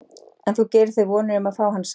En þú gerir þér vonir um að fá hann samt?